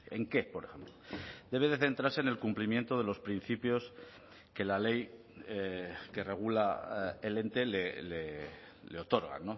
en qué por ejemplo debe de centrarse en el cumplimiento de los principios que la ley que regula el ente le otorga